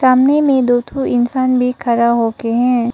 सामने में दो ठो इंसान भी खड़ा होके हैं।